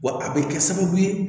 Wa a bɛ kɛ sababu ye